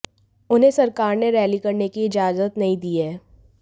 उन्हें सरकार ने रैली करने की इजाजत नहीं दी है